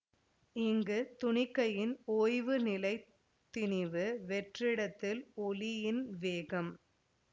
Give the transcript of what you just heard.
இங்கு துணிக்கையின் ஓய்வு நிலை திணிவு வெற்றிடத்தில் ஒளியின் வேகம்